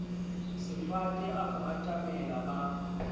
sefate a mo atamela ba